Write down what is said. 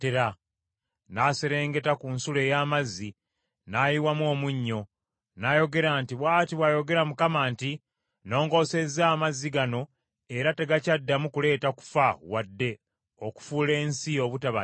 N’aserengeta ku nsulo ey’amazzi, n’ayiwamu omunnyo, n’ayogera nti, “Bw’ati bw’ayogera Mukama nti, ‘Nnoongosezza amazzi gano era tegakyaddamu kuleeta kufa wadde okufuula ensi obutaba njimu.’ ”